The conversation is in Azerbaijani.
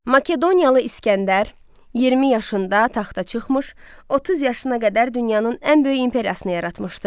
Makedoniyalı İsgəndər 20 yaşında taxta çıxmış, 30 yaşına qədər dünyanın ən böyük imperiyasını yaratmışdı.